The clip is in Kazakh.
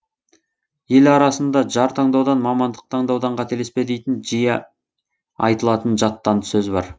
ел арасында жар таңдаудан мамандық таңдаудан қателеспе дейтін жиі айтылатын жаттанды сөз бар